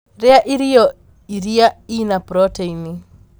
Rīa irio iria ina proteini.